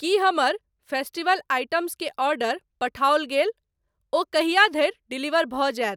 की हमर festival items के order पठाओल गेल? ओ कहिआ धरि डिलीवर भऽ जायत?